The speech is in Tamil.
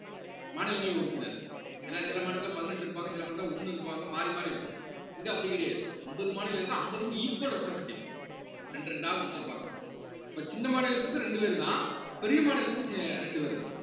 மாநிலங்களவை உறுப்பினர் ஏன்னா சில மாநிலத்தில பதினெட்டு இருப்பாங்க சில மாநிலத்தில ஒண்ணு இருப்பாங்க மாறி மாறி இருக்கும் இங்க அப்படி கிடையாது அம்பது மாநிலம் இருந்தா அம்பதுக்கு equal representatve ரெண்டு ரெண்டா குடுத்திருப்பாங்க அப்ப சின்ன மாநிலத்துக்கு ரெண்டு பேர் தான் பெரிய மாநிலத்துக்கு சி~ ரெண்டு பேர் தான்